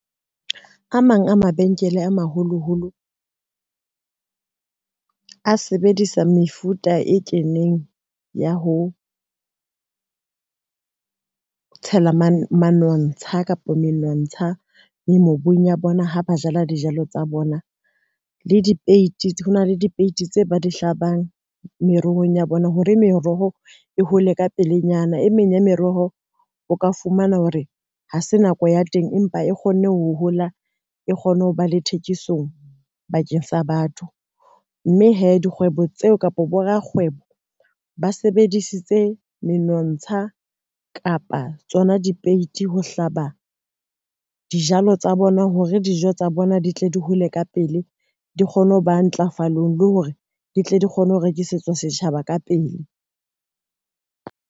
A mang a mabenkele a maholoholo, a sebedisa mefuta e keneng ya ho tshela manontsha kapa menontsha le mobung ya bona ha ba jala dijalo tsa bona. Le dipeiti, hona le dipeiti tse ba di hlabang merohong ya bona, hore meroho e hole ka pelenyana e meng ya meroho, o ka fumana hore ha se nako ya teng empa e kgonne ho hola, e kgone ho ba le thekisong bakeng sa batho mme hee dikgwebo tseo kapa borakgwebo ba sebedisitse menontsha kapa tsona dipeiti ho hlaba dijalo tsa bona hore dijo tsa bona di tle di hole ka pele, di kgone ho ba ntlafalo, le hore di tle di kgone ho rekisetswa setjhaba ka pele.